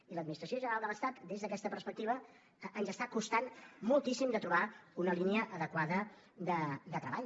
i l’administració general de l’estat des d’aquesta perspectiva ens està costant moltíssim de trobar una línia adequada de treball